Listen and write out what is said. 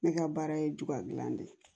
Ne ka baara ye juga dilan de ye